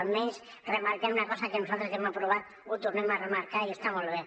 almenys remarquen una cosa que nosaltres ja hem aprovat ho tornem a remarcar i està molt bé